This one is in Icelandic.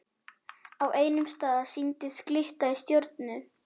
Á einum stað sýndist glitta í stjörnu.